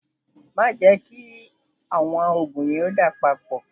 Má jẹ kí àwọn òògùn yẹn dà papọ̀.